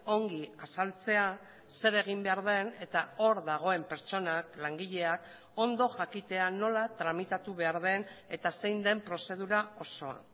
ongi azaltzea zer egin behar den eta hor dagoen pertsonak langileak ondo jakitea nola tramitatu behar den eta zein den prozedura osoa